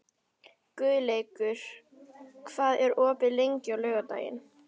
Guðleikur, hvað er opið lengi á laugardaginn?